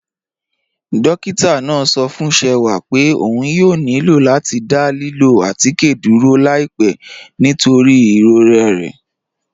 Dọ́kìtà náà sọ̀ fún Ṣẹ̀wà pé ọ̀n yóò nílọ̀ láti dá lílọ̀ àtikẹ́ dúró láìpẹ̀ nítorí iròrẹ̀ rẹ̀.